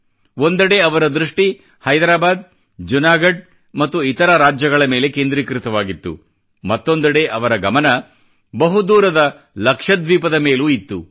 ಒಂದೆಡೆ ಅವರ ದೃಷ್ಠಿ ಹೈದ್ರಾಬಾದ್ ಜುನಾಗಢ್ ಮತ್ತು ಇತರ ರಾಜ್ಯಗಳ ಮೇಲೆ ಕೇಂದ್ರೀಕೃತವಾಗಿತ್ತು ಮತ್ತೊಂದೆಡೆ ಅವರ ಗಮನ ಬಹುದೂರದ ಲಕ್ಷದ್ವೀಪ್ ಮೇಲೂ ಇತ್ತು